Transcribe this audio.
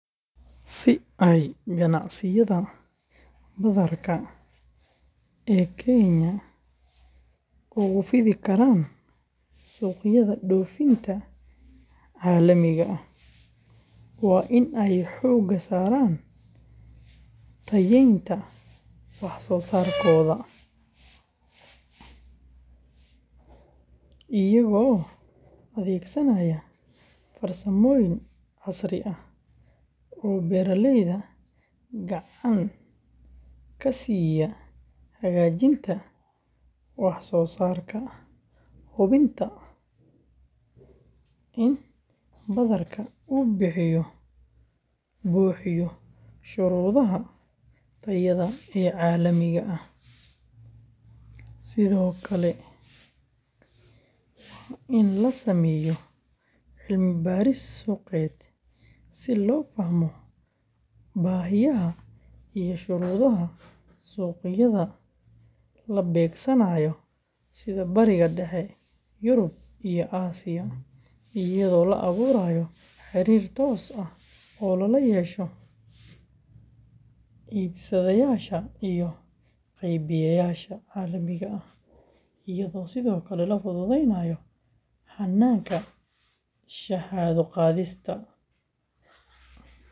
Si ay ganacsiyada badarka ee Kenya ugu fidi karaan suuqyada dhoofinta caalamiga ah, waa in ay xooga saaraan tayeynta wax-soo-saarkooda iyagoo adeegsanaya farsamooyin casri ah oo beeraleyda gacan ka siiya hagaajinta wax-soo-saarka, hubinta in badarka uu buuxiyo shuruudaha tayada ee caalamiga ah, sidoo kalena waa in la sameeyo cilmi-baaris suuqeed si loo fahmo baahiyaha iyo shuruudaha suuqyada la beegsanayo sida Bariga Dhexe, Yurub, iyo Aasiya, iyadoo la abuurayo xiriir toos ah oo lala yeesho iibsadayaasha iyo qaybiyeyaasha caalamiga ah, iyadoo sidoo kale la fududeynayo hannaanka shahaado-qaadista.